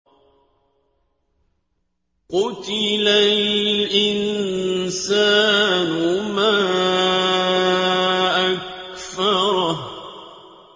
قُتِلَ الْإِنسَانُ مَا أَكْفَرَهُ